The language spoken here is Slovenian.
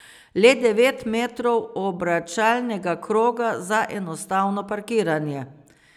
Le devet metrov obračalnega kroga za enostavno parkiranje.